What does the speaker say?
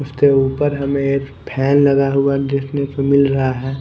उसके ऊपर हमें एक फैन लगा हुआ देखने को मिल रहा है।